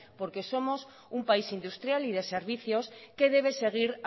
porque somos un país industrial y de servicios que debe seguir